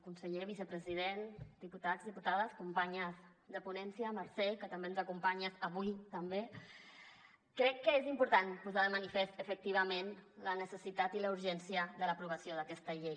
conseller vicepresident diputats diputades companyes de ponència mercè que també ens acompanyes avui també crec que és important posar de manifest efectivament la necessitat i la urgència de l’aprovació d’aquesta llei